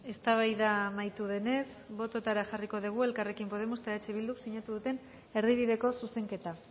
eztabaida amaitu denez bototara jarriko dugu elkarrekin podemos eta eh bilduk sinatu duten erdibideko zuzenketa